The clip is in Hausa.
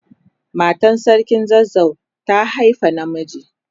Matan sarkin zazzau ta haifa na miji.